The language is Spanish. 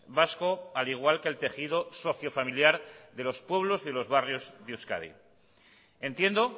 vasco al igual que el tejido socio familiar de los pueblos y de los barrios de euskadi entiendo